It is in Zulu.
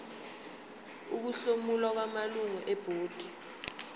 ukuhlomula kwamalungu ebhodi